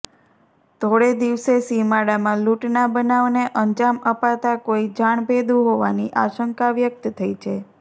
ધોળે દિવસે સીમાડામાં લૂંટના બનાવને અંજામ અપાતાં કોઈ જાણભેદુ હોવાની આશંકા વ્યક્ત થઈ છે